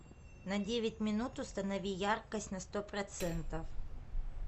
на девять минут установи яркость на сто процентов